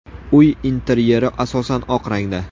Uy interyeri asosan oq rangda.